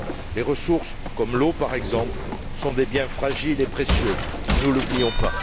Les ressources comme l'eau, par exemple, sont des biens fragiles et précieux, ne l'oublions pas.